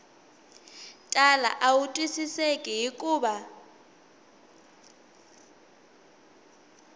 tala a wu twisiseki hikuva